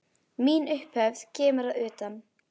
Mín upphefð kemur að utan.